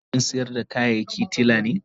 Kasan kantin sayar da kayaki tila ne.